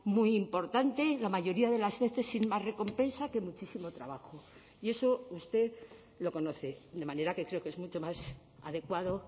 muy importante la mayoría de las veces sin más recompensa que muchísimo trabajo y eso usted lo conoce de manera que creo que es mucho más adecuado